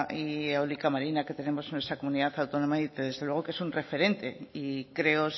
y eólica marina que tenemos en nuestra comunidad autónoma y desde luego que es un referente y creo